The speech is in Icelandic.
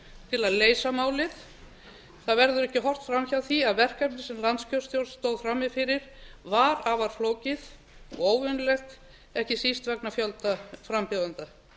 til að leysa málið það verður ekki haft fram hjá því að verkefni sem landskjörstjórn stóð frammi fyrir var afar flókið og óvenjulegt ekki síst vegna fjölda frambjóðenda